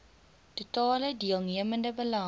totale deelnemende belange